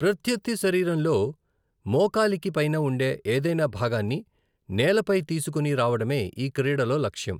ప్రత్యర్థి శరీరంలో మోకాలికి పైన ఉండే ఏదైనా భాగాన్ని నేలపై తీసుకొని రావడమే ఈ క్రీడలో లక్ష్యం.